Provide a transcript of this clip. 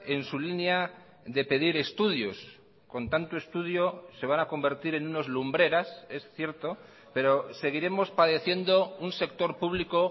en su línea de pedir estudios con tanto estudio se van a convertir en unos lumbreras es cierto pero seguiremos padeciendo un sector público